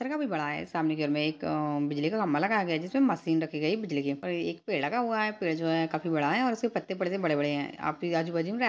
काफी बड़ा है सामने के घर में एक अ-बिजली का खम्बा लगाया गया है जिसमे मशीन रखी गयी है बिजली की और एक पेड़ लगा हुआ है पेड़ जो है काफी बड़ा है इसके पत्ते ऊपर से बड़े-बड़े हैं आपके आजु बाजू में --